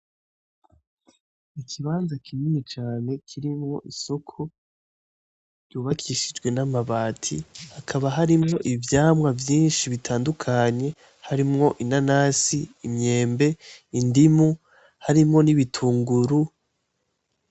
Ikibanza kinini cane kirimwo isoko ryubakishijwe n'amabati hakaba harimwo ivyamwa vyishi bitandukanye harimwo inanasi, imyembe, indimu harimwo n'ibitunguru.